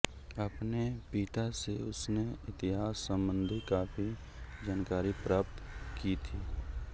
अपने पिता से उसने इतिहास संबंधी काफी जानकारी प्राप्त की थी